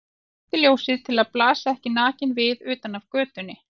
Hann slökkti ljósið til að blasa ekki nakinn við utan af götunni.